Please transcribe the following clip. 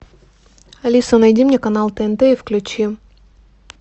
алиса найди мне канал тнт и включи